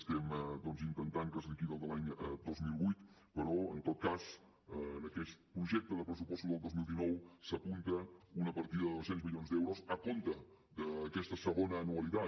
estem doncs intentant que es liquidi el de l’any dos mil vuit però en tot cas en aquest projecte de pressupostos del dos mil dinou s’apunta una partida de dos cents milions d’euros a compte d’aquesta segona anualitat